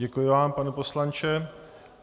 Děkuji vám, pane poslanče.